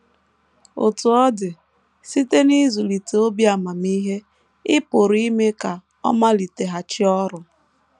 Otú ọ dị, site n’ịzụlite “ obi amamihe, ” ị pụrụ ime ka ọ maliteghachi ọrụ.